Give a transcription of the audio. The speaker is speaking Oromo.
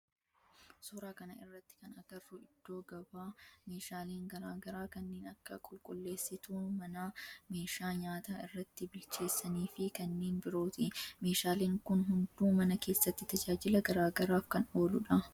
Suuraa kana irratti kan agarru iddoo gabaa meeshaaleen garaa garaa kanneen akka qulqulleessituu manaa, meeshaa nyaata irratti bilcheessani fi kanneen birooti. Meshaaleen kun hunduu mana keessatti tajaajila garaa garaaf kan ooludha.